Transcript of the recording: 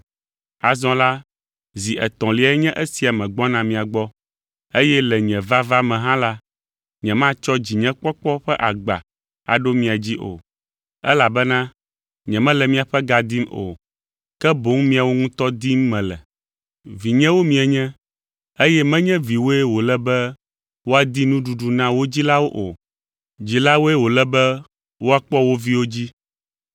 Azɔ la, zi etɔ̃liae nye esia megbɔna mia gbɔ, eye le nye vava me hã la, nyematsɔ dzinyekpɔkpɔ ƒe agba aɖo mia dzi o, elabena nyemele miaƒe ga dim o, ke boŋ miawo ŋutɔ dim mele. Vinyewo mienye, eye menye viwoe wòle be woadi nuɖuɖu na wo dzilawo o. Dzilawoe wòle be wòakpɔ wo viwo dzi.